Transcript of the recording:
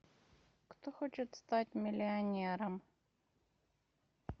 кто хочет стать миллионером